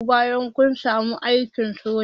Zamu horar da ku bayan kun samu aikin sojan